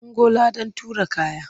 Ungo! ladan tura kaya.